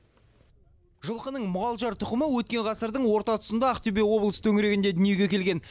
жылқының мұғалжар тұқымы өткен ғасырдың орта тұсында ақтөбе облысы төңірегінде дүниеге келген